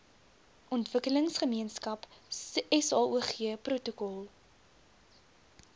ontwikkelingsgemeenskap saog protokol